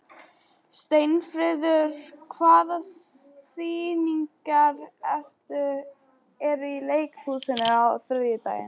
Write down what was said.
Sveinfríður, hvaða sýningar eru í leikhúsinu á þriðjudaginn?